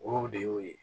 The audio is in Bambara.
O de y'o ye